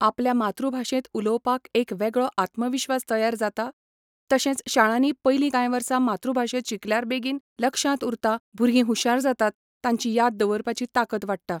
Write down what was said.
आपल्या मातृ भाशेंत उलोवपाक एक वेगळो आत्मविश्वास तयार जाता तशेंच शाळांनी पयलीं कांय वर्सां मातृ भाशेंत शिकल्यार बेगीन लक्षांत उरता भुरगीं हुशार जातात तांची याद दवरपाची ताकत वाडटा